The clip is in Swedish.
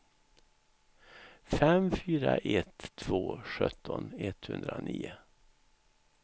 fem fyra ett två sjutton etthundranio